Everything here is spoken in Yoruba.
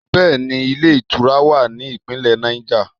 Bẹẹni, ilé ìtura wà ní Ìpínlẹ̀ Niger.